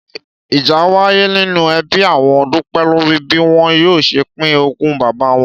Ìjà wáyé nínú e̩bí àwo̩n Dúpé̩ lórí bí wo̩n yóò s̩e pín ogún bàbá wo̩n